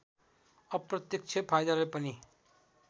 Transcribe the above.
अप्रत्यक्ष फाइदाले पनि